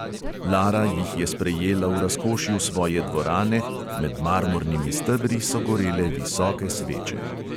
Lara jih je sprejela v razkošju svoje dvorane, med marmornimi stebri so gorele visoke sveče.